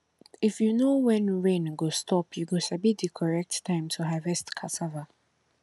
if you know when rain go stop you go sabi di correct time to harvest cassava